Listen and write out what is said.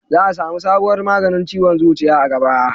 za a samu sabuwar maganin ciwon zuciya a gaba